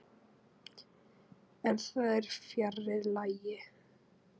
En það er fjarri lagi.